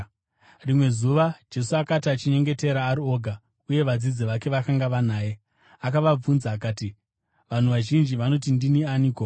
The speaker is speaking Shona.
Rimwe zuva Jesu akati achinyengetera ari oga uye vadzidzi vake vakanga vanaye, akavabvunza akati, “Vanhu vazhinji vanoti ndini aniko?”